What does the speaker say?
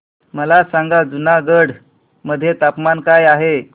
मला सांगा जुनागढ मध्ये तापमान काय आहे